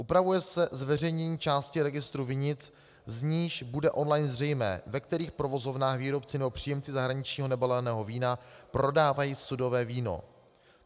Upravuje se zveřejnění části registru vinic, z níž bude on-line zřejmé, ve kterých provozovnách výrobci nebo příjemci zahraničního nebaleného vína prodávají sudové víno.